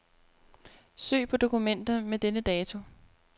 Søg på dokumenter med denne dato.